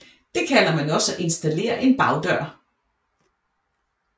Det kalder man også at installere en bagdør